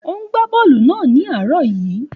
Ó ń gbá bọ́ọ̀lù náà ní àárọ̀ yìí.